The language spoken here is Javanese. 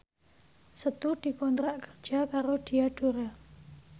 Setu dikontrak kerja karo Diadora